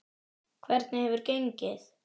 Hvernig hefur gengið?